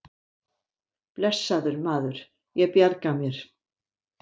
Blessaður, maður, ég bjarga mér.